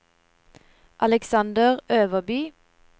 Aleksander Øverby